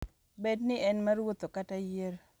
Bed ni en mar wuotho kata yiero.